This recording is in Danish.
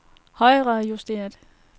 højrejusteret